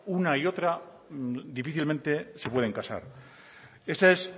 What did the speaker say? una y otra difícilmente se pueden casar esa es